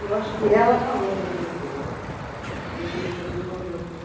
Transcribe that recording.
E eu acho que ela falou com a diretora, e a diretora me convidou para fazer.